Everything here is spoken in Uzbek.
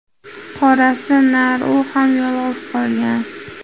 Qorasi nar, u ham yolg‘iz qolgan.